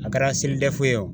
A kɛra SELIDEF ye o.